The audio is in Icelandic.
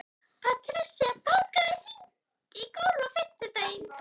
Patrisía, bókaðu hring í golf á fimmtudaginn.